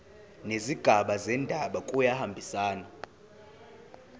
nezigaba zendaba kuyahambisana